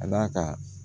Ka d'a kan